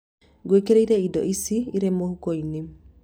Ngũĩkĩrĩre ĩndo ici ĩrĩ mũhuko-inĩ